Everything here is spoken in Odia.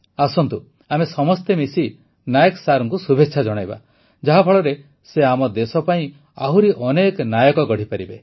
ଆସନ୍ତୁ ଆମେ ସମସ୍ତେ ମିଶି ନାଏକ ସାରଙ୍କୁ ଶୁଭେଚ୍ଛା ଜଣାଇବା ଯାହାଫଳରେ ସେ ଆମ ଦେଶ ପାଇଁ ଆହୁରି ଅନେକ ନାୟକ ଗଢ଼ିପାରିବେ